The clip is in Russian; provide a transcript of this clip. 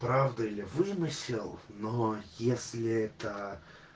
правда или вымысел но если это